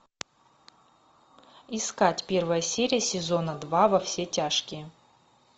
искать первая серия сезона два во все тяжкие